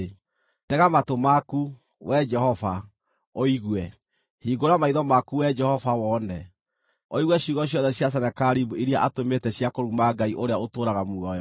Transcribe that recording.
Tega matũ maku, Wee Jehova, ũigue; hingũra maitho maku Wee Jehova wone, ũigue ciugo ciothe cia Senakeribu iria atũmĩte cia kũruma Ngai ũrĩa ũtũũraga muoyo.